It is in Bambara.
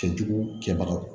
Cɛ jugu kɛbagaw